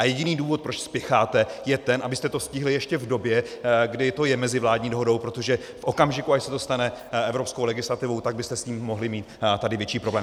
A jediný důvod, proč spěcháte, je ten, abyste to stihli ještě v době, kdy to je mezivládní dohodou, protože v okamžiku, až se to stane evropskou legislativou, tak byste s tím mohli mít tady větší problém.